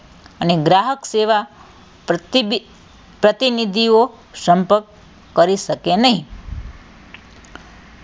અને ગ્રાહક સેવાં પ્રતિનિધિઓ સંપર્ક કરી શકે નહીં